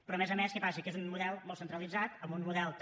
però a més a més què passa que és un model molt centralitzat amb un model també